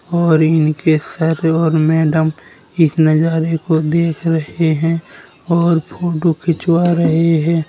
और इनके सर और मैडम इस नजारे को देख रहे हैं और फोटो खिंचवा रहे हैं।